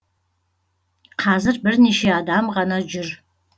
қазір бірнеше адам ғана жүр